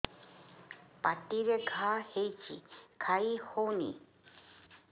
ପାଟିରେ ଘା ହେଇଛି ଖାଇ ହଉନି